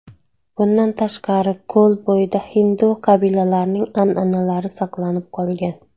Bundan tashqari ko‘l bo‘yida hindu qabilalarining an’analari saqlanib qolgan.